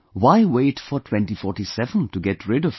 Why wait for 2047 to get rid of it